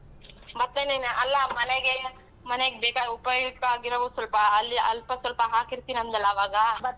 ಭತ್ತನೇನ ಅಲ್ಲಾ ಮನೆಗೆ ಮನೆಗ್ ಬೇಕಾಗಿರೋ ಉಪಯುಕ್ತ ಆಗಿರುವ ಸಲ್ಪ ಅಲ್ಲಿ ಅಲ್ಪ ಸ್ವಲ್ಪ ಹಾಕಿರ್ತಿನಿ ಅಂದಲ್ಲ ಆವಾಗ?